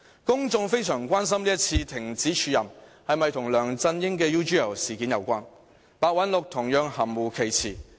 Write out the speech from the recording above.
公眾非常關心這次停止署任是否跟梁振英的 UGL 事件有關，白韞六同樣含糊其辭。